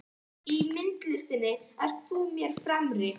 Í myndlistinni ert þú mér fremri.